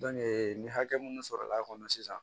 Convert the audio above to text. ni hakɛ minnu sɔrɔ l'a kɔnɔ sisan